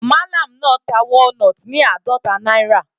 Mallam náà ta walnut ní àádọta náírà.